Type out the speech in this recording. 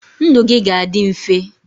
ndụ gị ga-adị mfe